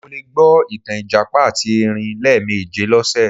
Mo le gbọ ìtàn ìjàpá àti erin lẹ́ẹ̀méje lọ́sẹ̀